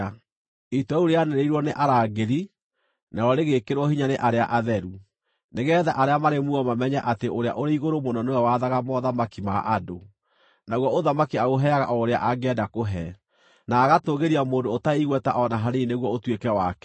“ ‘Itua rĩu rĩanĩrĩirwo nĩ arangĩri, narĩo rĩgekĩrwo hinya nĩ arĩa atheru, nĩgeetha arĩa marĩ muoyo mamenye atĩ Ũrĩa-ũrĩ-Igũrũ-Mũno nĩwe wathaga mothamaki ma andũ, naguo ũthamaki aũheaga o ũrĩa angĩenda kũũhe, na agatũũgĩria mũndũ ũtarĩ igweta o na hanini nĩguo ũtuĩke wake.’